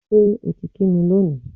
Ṣé o ti kí mi lónìí?